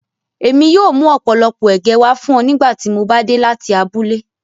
Èmi yóò mú ọ̀pọ̀lọpọ̀ ẹ̀gẹ̀ wá fúnọ̀ nígbà tímò bá dé láti abúlẹ̀.